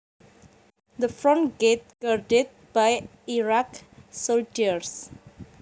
The front gate guarded by Iraqi soldiers